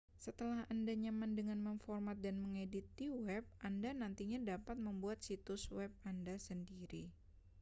setelah anda nyaman dengan memformat dan mengedit di web anda nantinya dapat membuat situs web anda sendiri